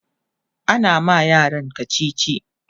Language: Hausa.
ana ma yaran kachichi